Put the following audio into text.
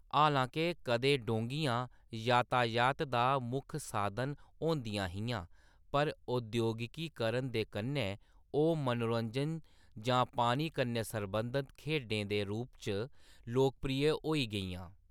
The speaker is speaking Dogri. हालांके कदें डोंगियां यातायात दा मुक्ख साधन होंदियां हियां, पर औद्योगिकीकरण दे कन्नै ओह्‌‌ मनोरंजन जां पानी कन्नै सरबंधत खेढै दे रूप च लोकप्रिय होई गेइयां।